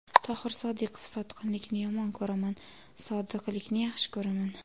Tohir Sodiqov: Sotqinlikni yomon ko‘raman, sodiqlikni yaxshi ko‘raman.